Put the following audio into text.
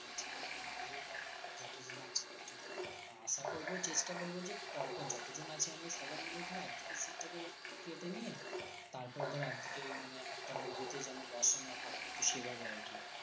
আশা করবো চেষ্টা করবো যে পরপর যতজন আছি আমরা সবাই মিলে ধর একদিকের seat টাকে কেটে নিয়ে তারপরে ধর একদিকে একটা বগিতে যেন বসানো হয় তো সেভাবে আরকি